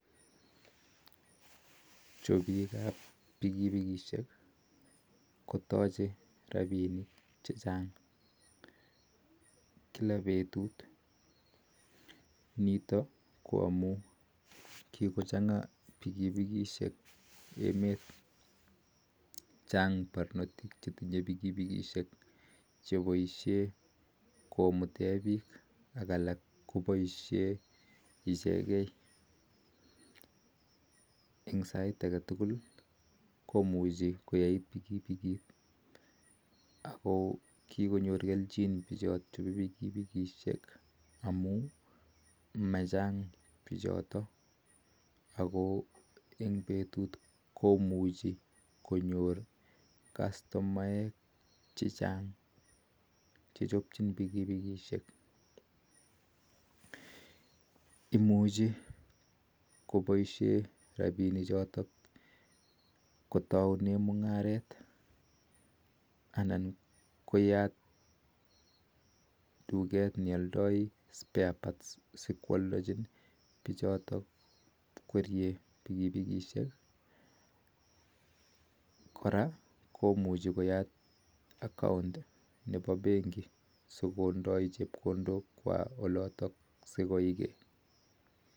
Chopiik ap pikipikisheek kotachet rapisheek chechaang kila petut amun chaang parnotik chepaisheen pikipikishek ak kikonyor kelnjin missing pichotok ako enmg petut konyoruu piik chechang chemeche kechopchii pikipikisheek kora komuchii konam rapisheek chotok ako yate tugeet nepo sparparts chebo pikipikisheek